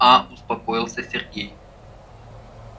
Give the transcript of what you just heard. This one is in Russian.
а успокоился сергей